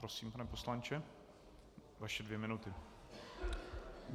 Prosím, pane poslanče, vaše dvě minuty.